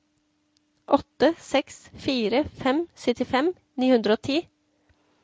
åtte seks fire fem syttifem ni hundre og ti